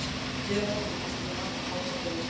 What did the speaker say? Hér á eftir er listi yfir alla fánabera Íslands: